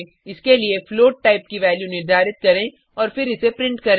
इसके लिए float type की वैल्यू निर्धारित करें और फिर इसे प्रिंट करें